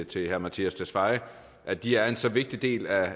til herre mattias tesfaye at de er en så vigtig del af